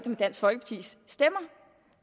med dansk folkepartis stemmer